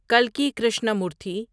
کلکی Krishnamurthy